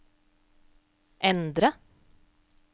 endre